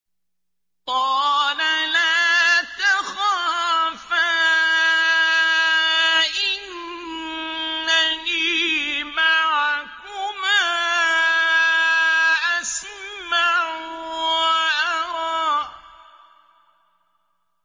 قَالَ لَا تَخَافَا ۖ إِنَّنِي مَعَكُمَا أَسْمَعُ وَأَرَىٰ